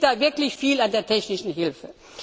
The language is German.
Es liegt da wirklich viel an der technischen Hilfe.